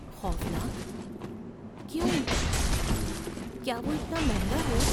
خوفناک؟ کیوں؟ کیا وہ اتنا مہنگا ہے؟